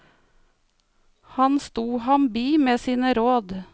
Han stod ham bi med sine råd.